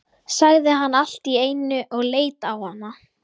sagði hann allt í einu og leit á hana.